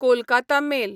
Kolkata mail